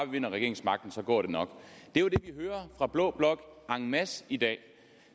vinder regeringsmagten så går det nok det er jo det vi hører fra blå blok en masse i dag